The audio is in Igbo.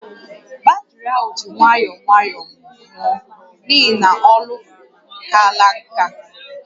Batrị ahụ ji nwayọọ nwayọọ nwụọ n'ihi na olọ kaala nkà